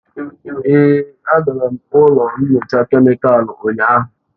Èé, agara m ụlọ nyocha kemịkalụ ụnyahụ.